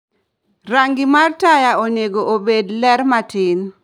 Rangi mar taya onego obed ler matin